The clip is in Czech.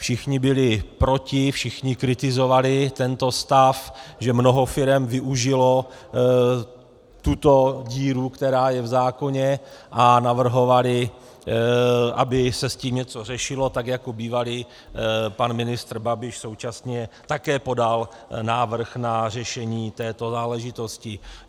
Všichni byli proti, všichni kritizovali tento stav, že mnoho firem využilo tuto díru, která je v zákoně, a navrhovali, aby se s tím něco řešilo tak, jako bývalý pan ministr Babiš současně také podal návrh na řešení této záležitosti.